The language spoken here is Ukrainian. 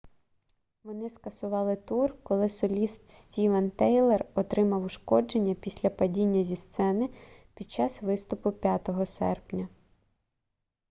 вони скасували тур коли соліст стівен тайлер отримав ушкодження після падіння зі сцени під час виступу 5 серпня